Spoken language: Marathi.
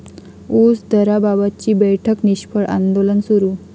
ऊस दराबाबतची बैठक निष्फळ, आंदोलन सुरू